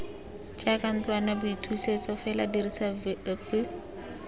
jaaka ntlwanaboithusetso fela dirisa vip